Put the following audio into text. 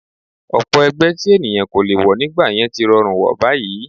Ọ̀pọ̀ ẹgbẹ́ tí ènìyàn kò lè wọ̀ nígbà yẹn tí rọrùn wọ̀ báyìí